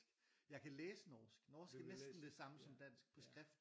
Jeg kan læse norsk norsk er næsten det samme som dansk på skrift